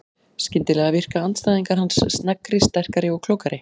Skyndilega virka andstæðingar hans sneggri, sterkari og klókari.